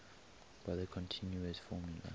by the continuous formula